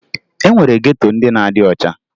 E nwere geto ndị na-adị ọcha